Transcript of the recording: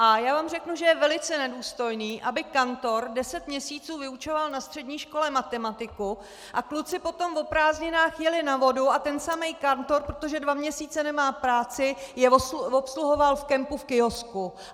A já vám řeknu, že je velice nedůstojné, aby kantor deset měsíců vyučoval na střední škole matematiku a kluci potom o prázdninách jeli na vodu a ten samý kantor, protože dva měsíce nemá práci, je obsluhoval v kempu v kiosku!